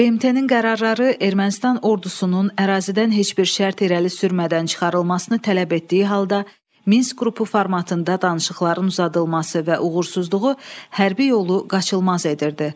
BMT-nin qərarları Ermənistan ordusunun ərazidən heç bir şərt irəli sürmədən çıxarılmasını tələb etdiyi halda, Minsk qrupu formatında danışıqların uzadılması və uğursuzluğu hərbi yolu qaçılmaz edirdi.